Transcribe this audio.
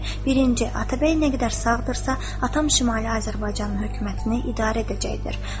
Birinci: Atabəy nə qədər sağdırsa, atam Şimali Azərbaycanın hökumətini idarə edəcəkdir.